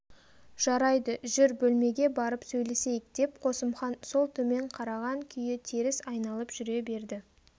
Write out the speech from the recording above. жарайды жүр бөлмеге барып сөйлесейік деп қосымхан сол төмен қараған күйі теріс айналып жүре берді